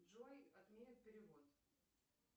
джой отменят перевод